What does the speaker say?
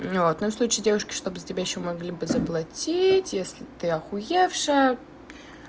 ну вот ну в случае девушки чтобы за тебя ещё могли бы заплатить если ты охуевшая